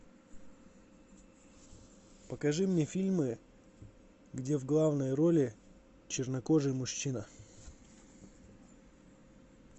покажи мне фильмы где в главной роли чернокожий мужчина